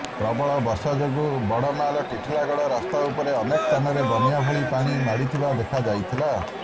ପ୍ରବଳ ବର୍ଷା ଯୋଗୁଁ ବଡମାଲ ଟିଟିଲାଗଡ଼ ରାସ୍ତା ଉପରେ ଅନେକ ସ୍ଥାନରେ ବନ୍ୟା ଭଳି ପାଣି ମାଡ଼ିଥିବା ଦେଖାଯାଇଥିଲା